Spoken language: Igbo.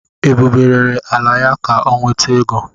Ebube rere ala ya ka ọ nweta ego.